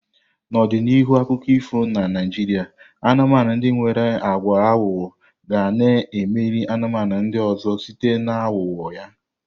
N'ọdịdị n'ihu akụkọ ifo na Naijiria, anumanu ndi nwere agwa aghụghọ ga na-emeri anụmanụ ndị ọzọ site na ahugho ya